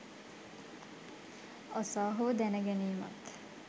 අසා හෝ දැන ගැනීමත්